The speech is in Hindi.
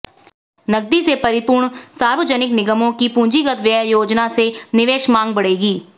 नकदी से परिपूर्ण सार्वजनिक निगमों की पूंजीगत व्यय योजना से निवेश मांग बढ़ेगी